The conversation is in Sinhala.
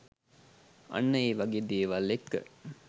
අන්න ඒවගේ දේවල් එක්ක